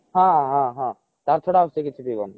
ହଁ ହଁ ହଁ ତା ଛଡା ଆଉ ସେ କିଛି ପିଈବନି